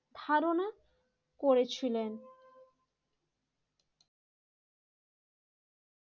ধারণা করেছিলেন